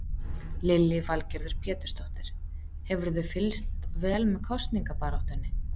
Lillý Valgerður Pétursdóttir: Hefurðu fylgst vel með kosningabaráttunni?